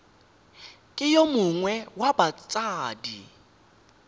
ke yo mongwe wa batsadi